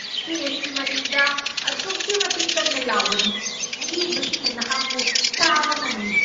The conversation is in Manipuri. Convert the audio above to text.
ꯁ꯭ꯇꯦꯖꯀꯤ ꯃꯅꯤꯡꯗ ꯑꯗꯨꯛꯀꯤ ꯃꯇꯤꯛ ꯀꯟꯅ ꯂꯥꯎꯒꯅꯨ꯫ ꯑꯌꯦꯡꯕꯁꯤꯡꯅ ꯅꯍꯥꯛꯄꯨ ꯇꯥꯕ ꯉꯝꯃꯤ꯫